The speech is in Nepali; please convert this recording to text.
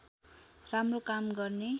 राम्रो काम गर्ने